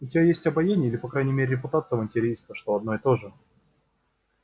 у тебя есть обаяние или по крайней мере репутация авантюриста что одно и то же